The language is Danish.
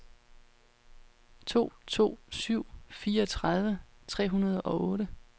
to to syv syv fireogtredive tre hundrede og otte